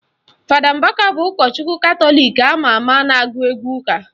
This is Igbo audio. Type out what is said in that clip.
Fada Mbaka bụ ụkọchukwu Katọlik ama ama na-agụ egwu ụka